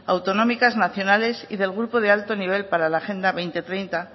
autonómicas nacionales y del grupo de alto nivel para la agenda dos mil treinta